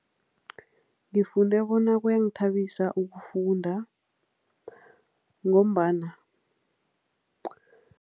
Ngifunde bona kuyangithabisa ukufunda ngombana.